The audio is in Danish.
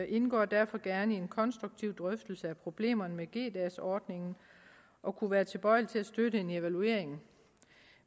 indgår derfor gerne i en konstruktiv drøftelse af problemerne med g dags ordningen og kunne være tilbøjelige til at støtte en evaluering